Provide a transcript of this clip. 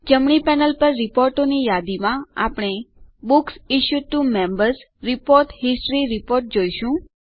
જમણી પેનલ પર રીપોર્ટોની યાદીમાં આપણે books issued to Members report history report જોઈશું